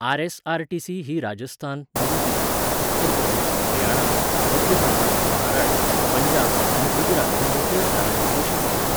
RSRTC. ही राजस्थान, नवी दिल्ली, उत्तर प्रदेश, हरियाणा, मध्य प्रदेश, महाराष्ट्र, पंजाब आनी गुजरात ह्या मुखेल शारांनी बशी चलयता.